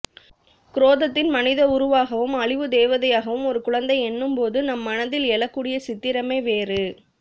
குரோதத்தின் மனித உருவாகவும் அழிவுதேவதையாகவும் ஒரு குழந்தை என்னும்போது நம் மனதில் எழக்கூடிய சித்திரமே வேறு